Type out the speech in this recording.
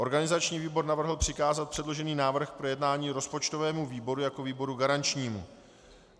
Organizační výbor navrhl přikázat předložený návrh k projednání rozpočtovému výboru jako výboru garančnímu.